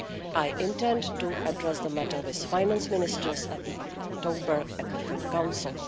I intend to address the matter with finance ministers at the October ECOFIN Council.